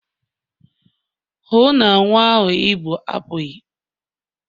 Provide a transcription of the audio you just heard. hụ na nwa a ị bu apughị!